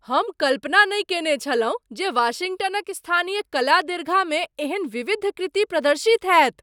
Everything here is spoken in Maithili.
हम कल्पना नहि कयने छलहुँ जे वाशिंगटनक स्थानीय कला दीर्घा मे एहन विविध कृति प्रदर्शित होयत।